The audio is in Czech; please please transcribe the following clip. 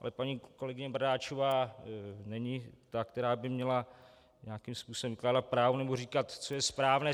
Ale paní kolegyně Bradáčová není ta, která by měla nějakým způsobem vykládat právo nebo říkat, co je správné.